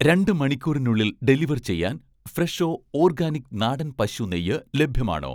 രണ്ട് മണിക്കൂറിനുള്ളിൽ ഡെലിവർ ചെയ്യാൻ 'ഫ്രെഷോ' ഓർഗാനിക് നാടൻ പശു നെയ്യ് ലഭ്യമാണോ?